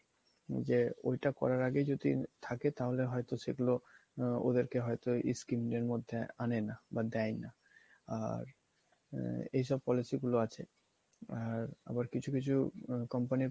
যে ওইটা করার আগে যদি থাকে তাহলে হয়তো সেগুলো ওদেরকে হয়তো scheme দের মধ্যে আনে না বা দেয় না আর এসব policy গুলো আছে আর আবার কিছু কিছু company